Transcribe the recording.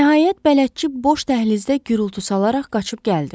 Nəhayət bələdçi boş dəhlizdə gurultu salaraq qaçıb gəldi.